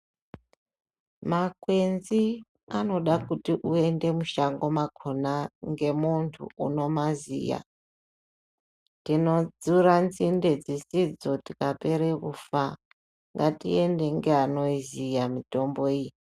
Makwenzi anoda kuti uende mushango mwakhona ngemuntu unomaziya tinodzura midzi dzakhona tikapere kufa ngatiende neanoziya mitombo iyi.